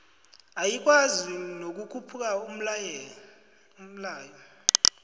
ayikwazi nokukhupha umlayo